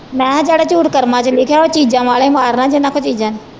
ਮੈ ਕਿਹਾ ਜਿਹੜਾ ਝੂਠ ਕਰਮਾਂ ਚ ਲਿਖਿਆ ਉਹ ਚੀਜ਼ਾਂ ਵਾਲਿਆਂ ਮਾਰਨਾ ਜਿਨ੍ਹਾਂ ਕੋ ਚੀਜ਼ਾਂ ਨੇ।